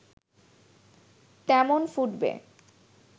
তেমন ফুটবে